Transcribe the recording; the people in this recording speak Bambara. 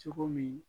Cogo min